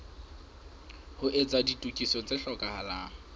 ho etsa ditokiso tse hlokahalang